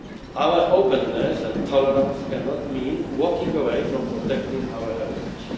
world. Our openness and tolerance cannot mean walking away from protecting our heritage.